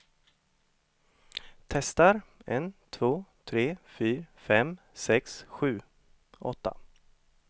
Testar en två tre fyra fem sex sju åtta.